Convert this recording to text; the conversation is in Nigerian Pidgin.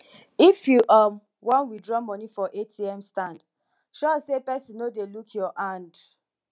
if you um wan withdraw money for atm stand sure say pesin no dey look your hand